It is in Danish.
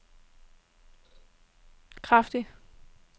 kraftige